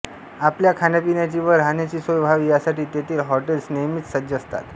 आपल्या खाण्यापिण्याची व राहण्याची सोय व्हावी यासाठी तेथील हॉटेल्स नेहमीच सज्ज असतात